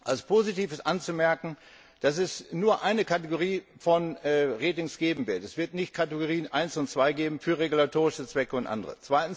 Als positiv ist anzumerken, dass es nur eine Kategorie von Ratings geben wird es wird nicht mehr Kategorie 1 und 2 geben für regulatorische Zwecke und andere.